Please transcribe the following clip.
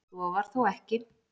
Svo var þó ekki.